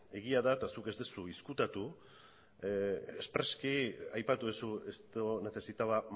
egia da eta zuk ez duzu ezkutatu espreski aipatu duzu esto necesitaba